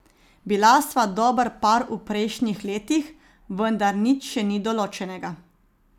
Bila sva dober par v prejšnjih letih, vendar nič še ni določenega.